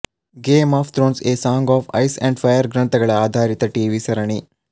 game of Thrones A Song of Ice and Fire ಗ್ರಂಥಗಳ ಆಧಾರಿತ TV ಸರಣಿ